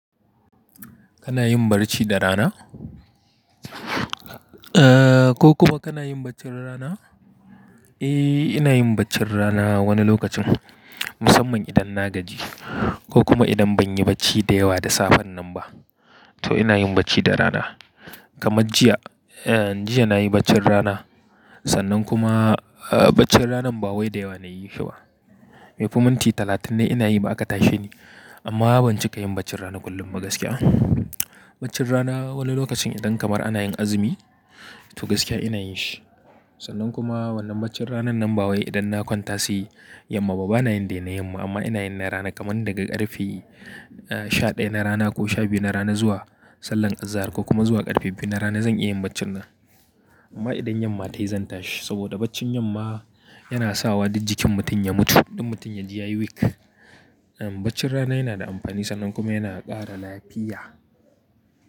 Kana yin barci da rana? Eh ko kuma kana yin baccin rana? Eh, ina yin baccin rana wani lokacin musamman idan na gaji ko kuma idan ban yi bacci da yawa da safen nan ba to ina yin bacci da rana. Kamar jiya, jiya na yi baccin rana sannan kuma baccin ranan ba wai da yawa na yi shi ba. Maife minti talatin ne ina yi ba'aka tashe ni amma ban cika yin baccin rana kullum ba gaskiya. Baccin rana wani lokacin idan kamar ana yin azumi to gaskiya ina yin shi sannan kuma wannan baccin rana nan ba wai idan na kwanta siyi yamma ba bana yin dai na yamma amma ina yin na rana kamar daga ƙarfe sha ɗaya na rana ko sha biyu na rana zuwa sallar azahar ko kuma zuwa ƙarfe biyu na rana zan iya yin baccin ran. Amma idan yamma tayi zan tashi saboda baccin yamma yana sawa da jikin mutum ya mutu, ɗan mutum ya ji ya yi weak Baccin rana yana da amfani sannan kuma yana ƙara lafiya.